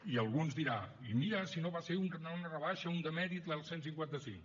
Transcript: i algú ens dirà i mira si no va ser una rebaixa un demèrit el cent i cinquanta cinc